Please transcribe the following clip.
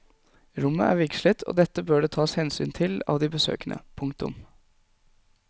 Rommet er vigslet og dette bør det tas hensyn til av de besøkende. punktum